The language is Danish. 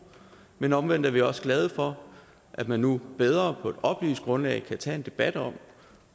men omvendt er vi også glade for at man nu bedre på et oplyst grundlag kan tage en debat om